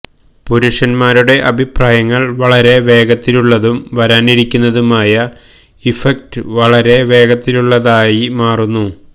പുരുഷന്മാരുടെ അഭിപ്രായങ്ങൾ വളരെ വേഗത്തിലുള്ളതും വരാനിരിക്കുന്നതുമായ ഇഫക്റ്റ് വളരെ വേഗത്തിലുള്ളതായി മാറുന്നു